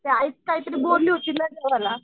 ते काहीतरी बोलली होती माहिती ये मला.